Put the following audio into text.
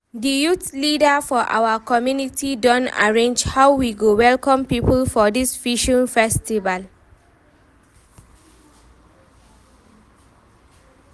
di youth leader for our community don arrange how we go welcome people for dis fishing festival.